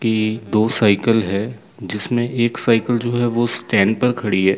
कि दो साइकल है जिसमें एक साइकल जो है वह स्टैंड पर खड़ी है।